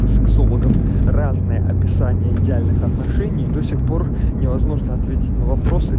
суворов разные описание идеальных отношений и до сих пор невозможно ответить на